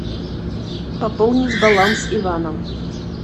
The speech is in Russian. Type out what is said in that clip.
пополнить баланс ивана